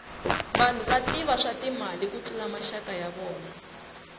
vanhu va tiva swa timali ku tlula maxaka ya vona